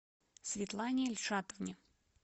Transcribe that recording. светлане ильшатовне